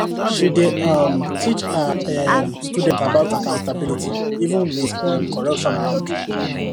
she dey um teach her um students about accountability even with um corruption around